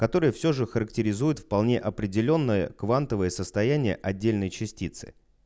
который все же характеризует вполне определённое квантовое состояние отдельные частицы